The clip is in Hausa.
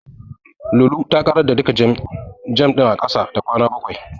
Lulu ta ƙarar da duka jam ɗin a ƙasa da kwana bakwai.